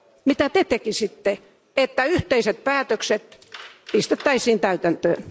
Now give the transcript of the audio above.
Mitä Te tekisitte, että yhteiset päätökset pistettäisiin täytäntöön?